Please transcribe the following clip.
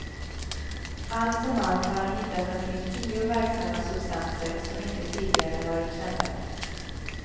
Allt som allt har han hittat omkring tio verksamma substanser som inte tidigare varit kända.